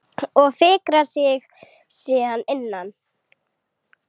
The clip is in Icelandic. Og fikrar sig síðan innar?